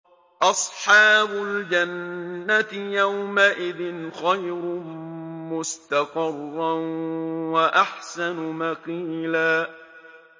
أَصْحَابُ الْجَنَّةِ يَوْمَئِذٍ خَيْرٌ مُّسْتَقَرًّا وَأَحْسَنُ مَقِيلًا